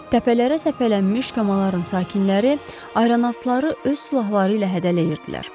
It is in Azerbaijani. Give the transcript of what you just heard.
Təpələrə səpələnmiş kəndlərin sakinləri ayrannautları öz silahları ilə hədələyirdilər.